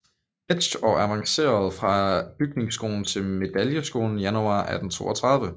Hetsch og avancerede fra bygningsskolen til medaljeskolen januar 1832